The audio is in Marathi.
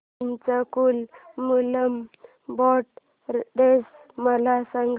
चंपाकुलम मूलम बोट रेस मला सांग